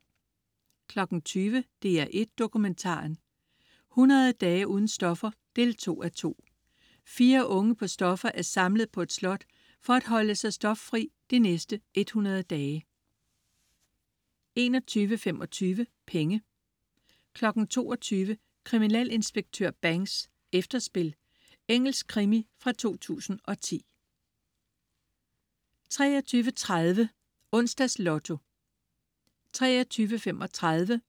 20.00 DR1 Dokumentaren: 100 dage uden stoffer 2:2. Fire unge på stoffer er samlet på et slot for at holde sig stoffri de næste 100 dage 21.25 Penge 22.00 Kriminalinspektør Banks: Efterspil. Engelsk krimi fra 2010 23.30 Onsdags Lotto 23.35